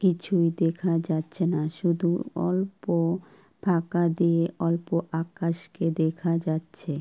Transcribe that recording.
কিছু দেখা যাচ্ছে না শুধু অল্প ফাঁকা দিয়ে অল্প আকাশকে দেখা যাচ্ছে।